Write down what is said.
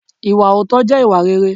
Ìwà òótọ́ jẹ́ ìwà réré.